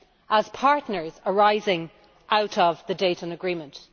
as partners arising out of the Dayton Agreement.